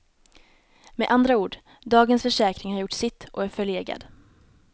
Med andra ord, dagens försäkring har gjort sitt och är förlegad.